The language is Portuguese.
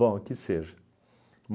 Bom, que seja.